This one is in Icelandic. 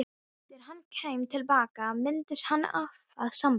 Þegar hann kæmi til baka myndi hann hafa samband.